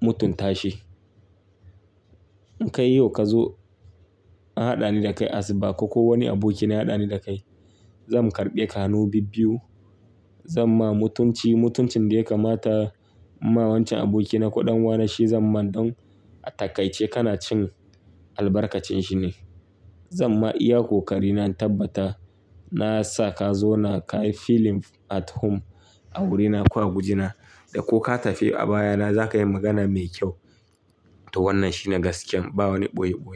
mutunta shi. In ka yi yau ka zo, an haɗani da kai asuba ko kuwa wani abokina ya haɗani da kai, zan karɓe ka hanu bibbiyu. Zan ma mutunci, mutuncin da ya kamata. Mawancen abokina ko ɗan uwana shi zan man don a takaice kana cin albarkacin shi ne. Zan ma iya ƙo ƙari na in tabbata na sa ka zauna ka yi feeling at home a wurina ko a gujina. Da ko ka tafi a baya na za ka yi magana mai kyau. To wannan shine gaskiyab ba wani ɓoye-ɓoye.